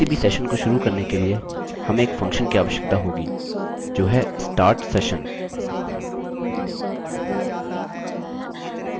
किसी भी सेशन को शुरू करने के लिए हमें एक फंक्शन की आवश्यकता होगी जो है start session